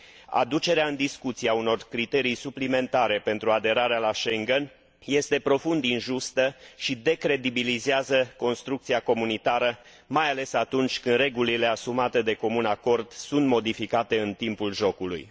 Aducerea în discuție a unor criterii suplimentare pentru aderarea la Schengen este profund injustă și decredibilizează construcția comunitară, mai ales atunci când regulile asumate de comun acord sunt modificate în timpul jocului.